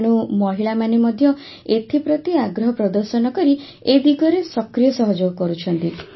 ତେଣୁ ମହିଳାମାନେ ମଧ୍ୟ ଏଥିପ୍ରତି ଆଗ୍ରହ ପ୍ରଦର୍ଶନ କରି ଏ ଦିଗରେ ସକ୍ରିୟ ସହଯୋଗ କରୁଛନ୍ତି